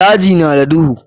Daji na da duhu.